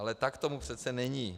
Ale tak tomu přece není.